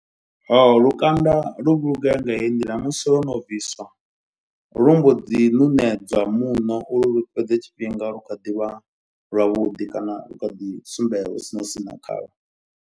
Ho lukanda lu vhulungea nga heyi nḓila. Musi lo no bviswa lu mbo ḓi ṋuṋedzwa muṋo. Uri lu fhedze tshifhinga lu kha ḓi vha lwavhuḓi kana lu kha ḓi sumbedza hu si na u sina khalwo.